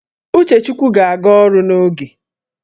Uchechukwu ga-aga ọrụ n'oge